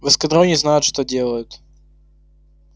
в эскадроне знают что делают